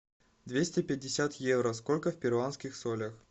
двести пятьдесят евро сколько в перуанских солях